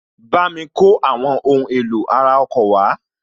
Bámi kó àwọn ohun èlò ara ọkọ̀ wá